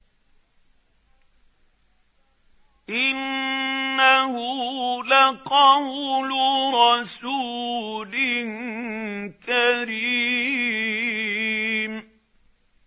إِنَّهُ لَقَوْلُ رَسُولٍ كَرِيمٍ